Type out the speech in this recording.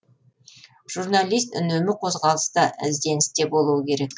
жүрналист үнемі қозғалыста ізденісте болуы керек